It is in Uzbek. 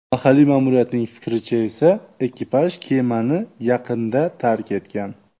Mahalliy ma’muriyatning fikricha esa, ekipaj kemani yaqinda tark etgan.